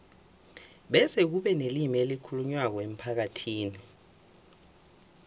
bese kube nelimi elikhulunywako emphakathini